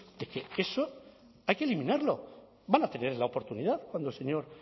de que eso hay que eliminarlo van a tener la oportunidad cuando el señor